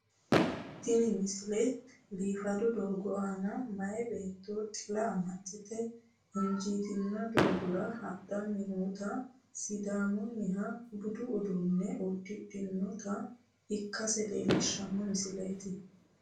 tini misile biifado doogo aana maye beetto xila amaxxite injiitino doogora hadhanni nootanna sidaammunniha budu uduunne uddidhinota ikkase leellishshanno misileeti